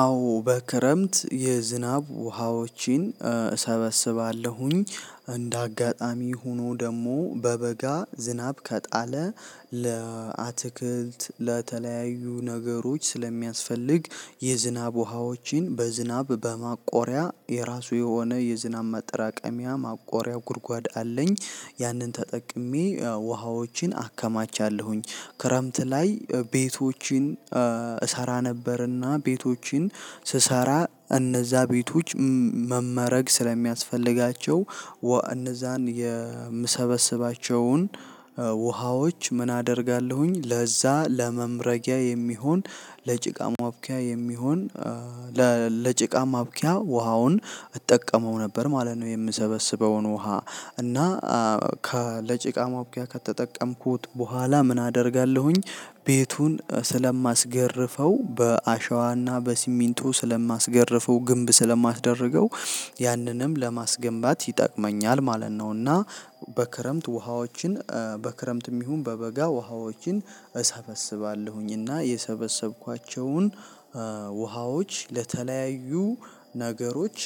አዎ በክረምት የዝናብ ውሃዎችን እሰበስባለሁኝ እንደ አጋጣሚ ሆኖ ደግሞ በበጋ ዝናብ ከጣለ ለአትክልት ለተለያዩ ነገሮች ሰለ ሚያሰፈልግ የዝናብ ዉሀወችን በዝናብ በማቆሪያ የራሱ የሆነ የዝናብ ማጠራቀሚያ ማቆሪያ ጉርጓድ አለኝ ያንን ተጠቀሜ ያው ውሃዎችን አከማቻለሁኝ ክረምት ላይ ቤቶችን እሰራ ነበርና ቤቶችን ስሰራ እነዛ ቤቶች መመረግ ስለሚያስፈልጋቸው እነዛን የምሰበስባቸውን ውሀወችን ምን አደርጋለሁኝ ለዛ ለመምረጊያ የሚሆን ለጭቃ ማቡኪያ የሚሆን ለጭቃ ማብቂያ ውሃውን እጠቀመው ነበር ማለት ነው። የምሰበስበውን ውሃ እና ለጭቃ ማቡኩያ ከተጠቀምኩት በኋላ ምን አደርጋለሁኝ ቤቱን ስለማስገርፈው በአሸዋና በሲሚንቶ ስለማስገርፈው ግንብ ስለማስደርገው ያንንም ለማስገንባት ይጠቅመኛል ማለት ነው። እና ውሃዎችን በክረምትም ይሁን በበጋ እሰበስባለሁኝ እና የሰበሰብኳቸውን ውሃዎች ለተለያዩ ነገሮች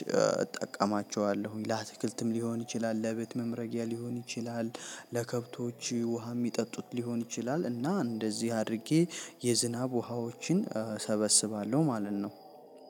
እጠቀማቸዋለሁኝ። ለአትክልትም ሊሆን ይችላል ለቤት መምረጊያ ሊሆን ይችላል። ለከብቶች ውሃ የሚጠጡት ሊሆን ይችላል እና እንደዚህ አድርጌ የዝናብ ውሃዎችን ሰበስባለሁ ማለት ነው።